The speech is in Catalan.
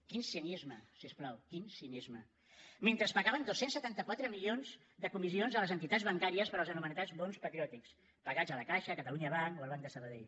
quin cinisme si us plau quin cinisme mentre pagaven dos cents i setanta quatre milions de comissions a les entitats bancàries per als anomenats bons patriòtics pagats a la caixa catalunya banc o al banc de sabadell